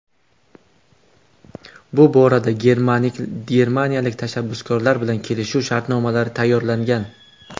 Bu borada germaniyalik tashabbuskorlar bilan kelishuv shartnomalari tayyorlangan.